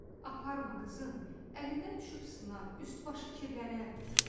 "Aparma qızım, əlindən düşüb sınar, üst-başı kirlənər."